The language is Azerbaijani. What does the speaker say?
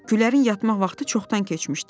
Gülərin yatmaq vaxtı çoxdan keçmişdi.